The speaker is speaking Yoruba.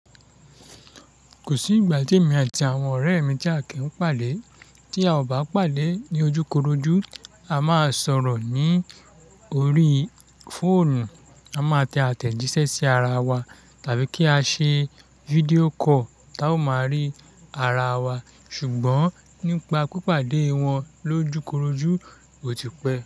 Kò sí ìgbà tí èmi àti àwọn ọ̀rẹ́ mi tí a kì í pàdé, tí a ò bá pàdé ní ojúkorojú, a máa sọ̀rọ̀ ní orí fóònù, a máa tẹ àtẹ̀jíṣẹ́ sí ara wa, tàbí kí a ṣe fídíò call tá a ó máa rí ara wa, ṣùgbọ́n nípa pípàdé wọn lójúkorojú, ó ti pẹ́